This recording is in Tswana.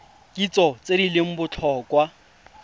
kitso tse di leng botlhokwa